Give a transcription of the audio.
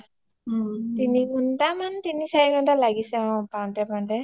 তিনি ঘণ্টা মান তিনি চাৰি ঘণ্টা মান লাগিছে পাওঁটে পাওঁটে